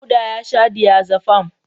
Dauda ya sha diazefam.